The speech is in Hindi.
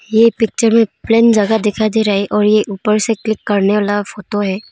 ये पिक्चर में ज्यादा दिखाई दे रहा है और ये ऊपर से क्लिक करने वाला फोटो है।